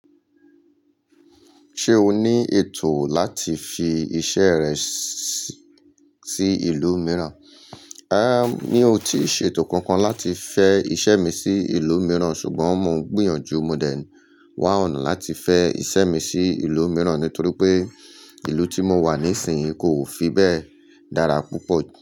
Ṣé o ní ètò láti fi iṣẹ́ rẹ sí ìlú mìíràn? Ẹ́n! Mi ò tí ì ṣe ètò kankan láti fẹ́ iṣẹ́ mi sí ìlú mìíràn ṣùgbọ́n mo ń gbìyànjú modẹ n wá ọ̀nà láti fẹ́ iṣẹ́ mi sí ìlú mìíràn nítorí pé ìlú tí mo wà níìsín yìí kò fi bẹ́ẹ̀ dára púpọ̀ jù.